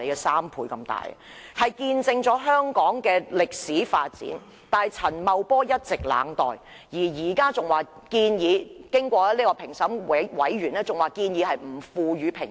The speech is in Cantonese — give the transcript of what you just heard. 雖然它見證了香港歷史的發展，但陳茂波卻一直冷待，現在評審小組更建議不賦予評級。